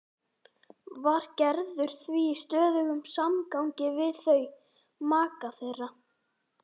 Var Gerður því í stöðugum samgangi við þau, maka þeirra